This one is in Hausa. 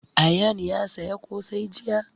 Ayaan ya saya ƙosai jiya